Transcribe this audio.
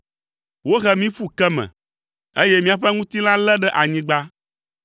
Wohe mí ƒu ke me, eye míaƒe ŋutilã lé ɖe anyigba.